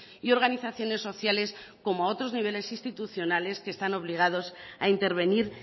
y organizaciones sociales como a otros niveles institucionales que están obligados a intervenir